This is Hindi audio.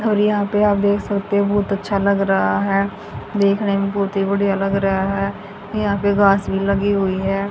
और यहां पे आप देख सकते हो बहुत अच्छा लग रहा है देखने में बहुत ही बढ़िया लग रहा है यहां पे घास भी लगी हुई है।